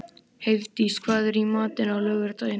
Heiðdís, hvað er í matinn á laugardaginn?